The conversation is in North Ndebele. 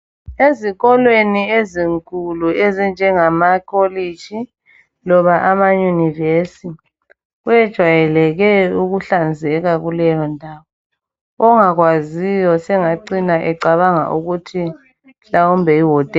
Ezikolweni ezinkulu ezinjengama kolitshi loba amayunivesi kwejayeleke ukuhlanzeka kuleyo ndawo, ongakwaziyo sengacina ecabanga ukuthi mhlawumbe yihotela.